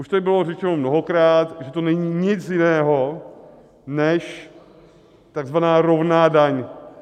Už tady bylo řečeno mnohokrát, že to není nic jiného než tzv. rovná daň.